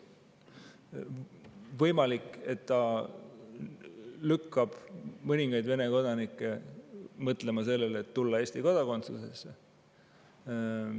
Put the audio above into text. Võimalik, et see lükkab mõningaid Vene kodanikke mõtlema sellele, et tulla Eesti kodakondsusesse.